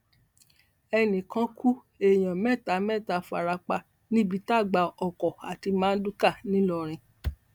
ẹnì kan kú èèyàn mẹta mẹta fara pa níbi tágbá ọkọ àti mardukà ńìlọrin